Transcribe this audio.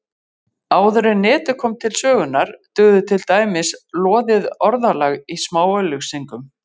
Áður en Netið kom til sögunnar dugði til dæmis loðið orðalag í smáauglýsingum.